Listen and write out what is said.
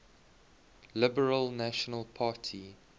liberal national party